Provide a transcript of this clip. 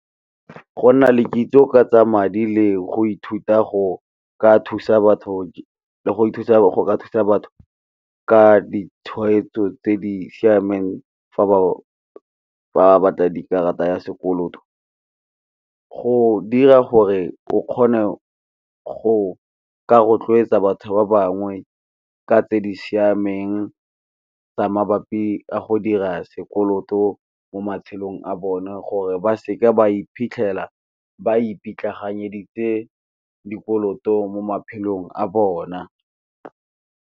Go nna le kitso ka tsa madi le go ithuta go ka thusa batho le go thusa go ka thusa batho ka ditshwetso tse di siameng fa ba fa ba batla di karata ya sekoloto, go dira gore o kgone go ka rotloetsa batho ba bangwe ka tse di siameng tsa mabapi a go dira sekoloto mo matshelong a bone, gore ba seke ba iphitlhela ba ipitlaganyeditse dikoloto mo maphelong a bona.